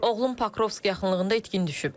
Oğlum Pokrovski yaxınlığında itkin düşüb.